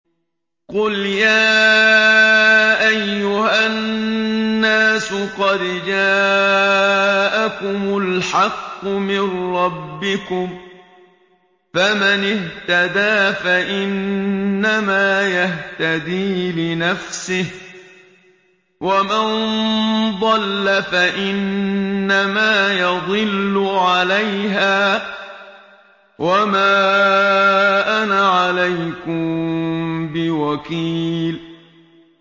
قُلْ يَا أَيُّهَا النَّاسُ قَدْ جَاءَكُمُ الْحَقُّ مِن رَّبِّكُمْ ۖ فَمَنِ اهْتَدَىٰ فَإِنَّمَا يَهْتَدِي لِنَفْسِهِ ۖ وَمَن ضَلَّ فَإِنَّمَا يَضِلُّ عَلَيْهَا ۖ وَمَا أَنَا عَلَيْكُم بِوَكِيلٍ